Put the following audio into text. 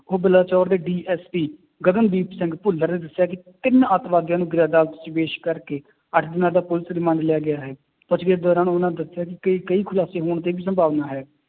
ਉਹ ਬਲਾਚੋਰ ਦੇ DSP ਗਗਨਦੀਪ ਸਿੰਘ ਭੁੱਲਰ ਨੇ ਦੱਸਿਆ ਕਿ ਤਿੰਨ ਆਤੰਕਵਾਦੀਆਂ ਨੂੰ ਅਦਾਲਤ ਚ ਪੇਸ਼ ਕਰਕੇ ਅੱਠ ਦਿਨਾਂ ਦਾ ਪੁਲਿਸ remand ਲਿਆ ਗਿਆ ਹੈ, ਪੁੱਛ ਗਿੱਛ ਦੌਰਾਨ ਉਹਨਾਂ ਨੇ ਦੱਸਿਆ ਕਿ ਕਈ ਖੁਲਾਸੇ ਹੋਣ ਦੀ ਵੀ ਸੰਭਾਵਨਾ ਹੈ